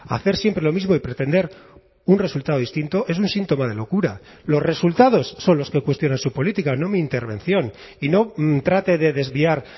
hacer siempre lo mismo y pretender un resultado distinto es un síntoma de locura los resultados son los que cuestionan su política no mi intervención y no trate de desviar